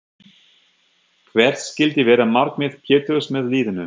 Hvert skyldi vera markmið Péturs með liðinu?